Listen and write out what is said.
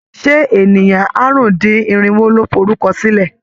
Ṣé ènìyàn àrùn-dín-irinwo ló forúkọsílẹ̀?